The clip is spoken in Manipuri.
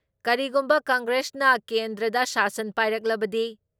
ꯀꯔꯤꯒꯨꯝꯕ ꯀꯪꯒ꯭ꯔꯦꯁꯅ ꯀꯦꯟꯗ꯭ꯔꯗ ꯁꯥꯁꯟ ꯄꯥꯏꯔꯛꯂꯕꯗꯤ